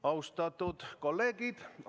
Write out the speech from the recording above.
Austatud kolleegid!